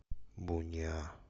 буниа